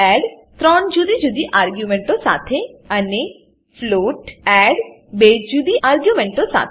int add ત્રણ જુદી જુદી આર્ગ્યુંમેંટો સાથે અને ફ્લોટ એડ બે જુદી આર્ગ્યુંમેંટો સાથે